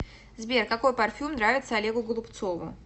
сбер какой парфюм нравится олегу голубцову